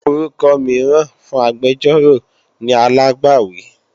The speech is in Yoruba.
Orúkọ mìíràn fún agbẹjọ́rò ni alágbàwí